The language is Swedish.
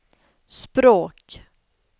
språk